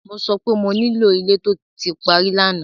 Mo sọ pé mo nílò ilé tó ti parí lánàá!